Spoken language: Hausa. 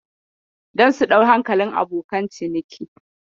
Don su ɗau hankalin abokan ciniki.